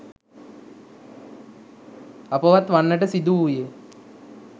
අපවත් වන්නට සිදුවූයේ